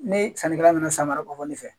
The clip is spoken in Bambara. Ni sannikɛla nana san wɛrɛ ko fɔ ne fɛ